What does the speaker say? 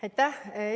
Aitäh!